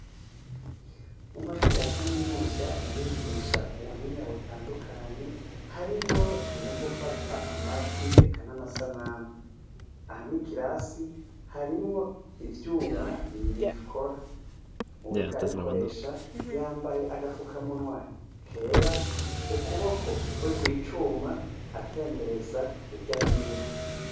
Mu mashure ya kaminuza barigisha ubuhinga butandukanye harimwo ivyo gufata amajwi eka namasanamu aha mu kirasi harimwo ivyuma na bibikora nuwuriko arayikoresha yambaye agafukamunwa kera, kukuboko kuri kwicuma atembereza hirya no hino.